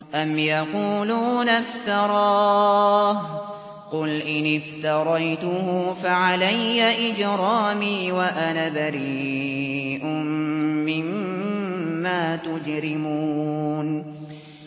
أَمْ يَقُولُونَ افْتَرَاهُ ۖ قُلْ إِنِ افْتَرَيْتُهُ فَعَلَيَّ إِجْرَامِي وَأَنَا بَرِيءٌ مِّمَّا تُجْرِمُونَ